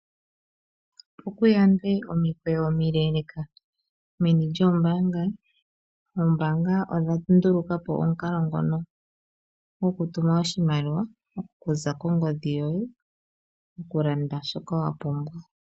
Opo ku yandwe omikweyo omeleleka meni lyoombanga, oombanga odha ndulukapo omukalo ngono gokutuma oshimaliwa okuza kongodhi yoye okulanda shoka wa pumbwa.